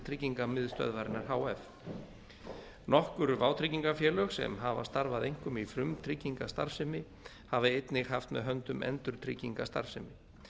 tryggingamiðstöðvarinnar h f nokkur vátryggingafélög sem hafa starfað einkum í frumtryggingastarfsemi hafa einnig haft með höndum endurtryggingastarfsemi